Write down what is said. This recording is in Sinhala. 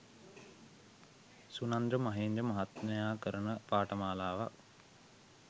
සුනන්ද මහේන්ද්‍ර මහත්මයා කරන පාඨමාලාවක්